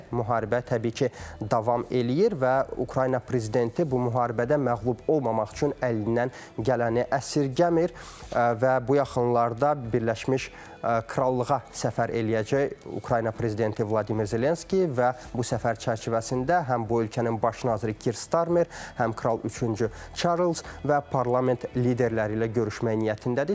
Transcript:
Müharibə təbii ki, davam eləyir və Ukrayna prezidenti bu müharibədə məğlub olmamaq üçün əlindən gələni əsirgəmir və bu yaxınlarda Birləşmiş Krallığa səfər eləyəcək Ukrayna prezidenti Vladimir Zelenski və bu səfər çərçivəsində həm bu ölkənin baş naziri Kir Starmer, həm Kral üçüncü Çarlz və parlament liderləri ilə görüşməyə niyyətindədir.